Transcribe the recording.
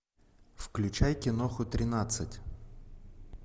включай киноху тринадцать